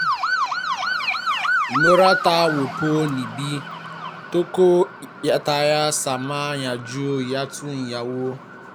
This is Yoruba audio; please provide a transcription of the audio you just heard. ìmọ̀ràn tó wọpọ̀ ni bí tọkọtaya ṣe máa yanjú ìyàtọ̀ ináwó